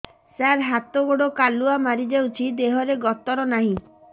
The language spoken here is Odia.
ସାର ହାତ ଗୋଡ଼ କାଲୁଆ ମାରି ଯାଉଛି ଦେହର ଗତର ନାହିଁ